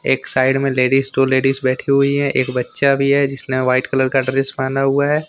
एक साइड में ladies two ladies बैठी हुई हैं एक बच्चा भी है जिसने व्हाइट कलर का ड्रेस पहना हुआ है।